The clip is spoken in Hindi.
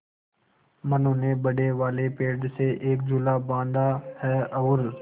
मनु ने बड़े वाले पेड़ से एक झूला बाँधा है और